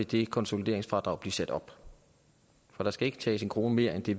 det konsolideringsfradrag vil blive sat op for der skal ikke tages en krone mere end det